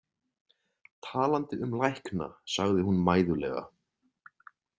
Talandi um lækna, sagði hún mæðulega.